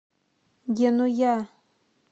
генуя